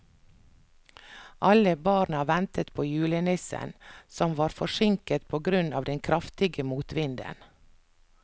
Alle barna ventet på julenissen, som var forsinket på grunn av den kraftige motvinden.